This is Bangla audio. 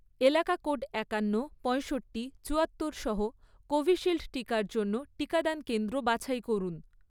এলাকা কোড একান্ন, পঁয়ষট্টি, চুয়াত্তর সহ কোভিশিল্ড টিকার জন্য টিকাদান কেন্দ্র বাছাই করুন।